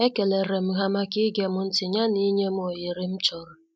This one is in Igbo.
E kelerem ha maka igem ntị ya na inyem oghere m chọrọ.